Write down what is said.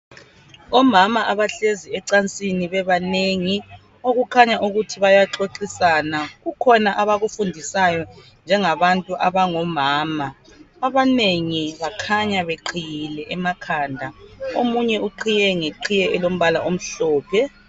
Omama abahlezi ecansini bebanengi. Okukhanya ukuth bayaxoxisana. Kukhona abakufundisayo njengabantu abangomama. Abanengi bakhanya beqhiyile emakhanda. Omunye uqhiye ngeqhiye elombala omhlophe.